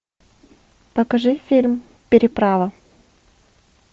покажи фильм переправа